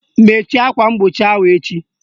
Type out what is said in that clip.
Mechie akwa mgbochi ahụ echi!